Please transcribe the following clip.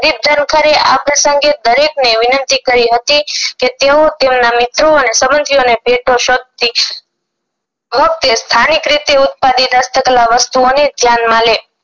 ધનકરે આ પ્રસંગે દરેક ને વિનંતી કરી હતી ક તેઓ તેમના મિત્રો અને તેમના સંબધીઓને સ્થાનિક રીતે ઉત્પાદિત હસ્તકળા વસ્તુઓને ધ્યાનમાં લે